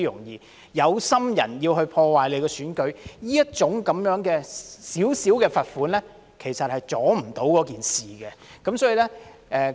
有心人要破壞選舉，這小小的罰款，其實無法阻礙事情的發生。